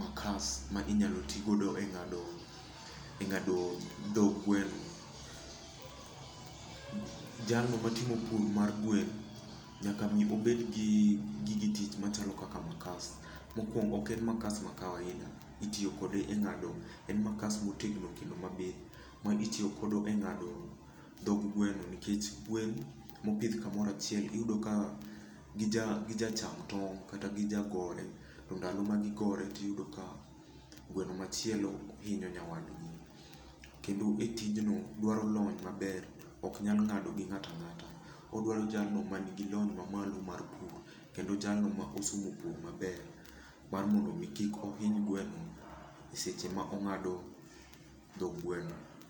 makas ma inyalo tigodo e ng'ado, e ng'ado dho gweno. Jalno matimo pur mar gweno nyaka mi obed gi gige tich machalo kaka makas. Mokuongo, ok en makas ma kawaida. Itiyo kode e ng'ado, en makas motegno kendo mabith, ma itiyogodo e ng'ado dhog gweno, nikech gwen mobidh kumoro achiel iyudo ka gija gijacham tong' kata gija gore. Ndalo ma gigore tiyudo ka gweno machielo hinyo nyawadgi. Kendo e tij no dwaro lony maber. Oknyal ng'ado gi ngat ang'ata. Odwaro jalno ma nigi lony mamalo mar pur, kendo jalno ma osomo pur maber mar mondo mi kik ohiny gweno e seche ma ong'ado dho gweno.